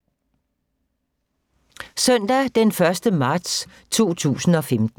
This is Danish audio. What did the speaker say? Søndag d. 1. marts 2015